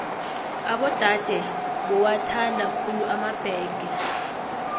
abodade bowathanda khulu emabhege